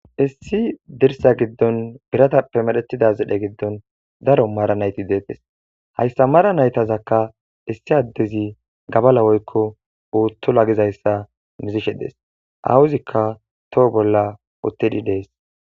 issi dirsa giddon biratappe madhetida zidhe giddon daro maara nayti deetes hayssa mara naytazakka issi addezi gabala woykko uutto la gizayssa mizishe dees awuzikka toho bolla uttedi dees